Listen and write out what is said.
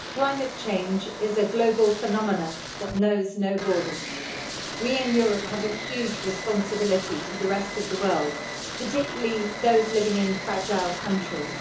Mr President, climate change is a global phenomenon that knows no borders. We in Europe have a huge responsibility to the rest of the world, particularly those living in fragile countries.